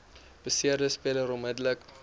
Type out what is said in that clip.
beseerde speler onmiddellik